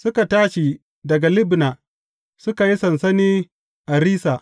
Suka tashi daga Libna, suka yi sansani a Rissa.